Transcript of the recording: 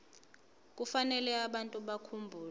kufanele abantu bakhumbule